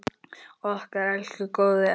Okkar elsku góði afi!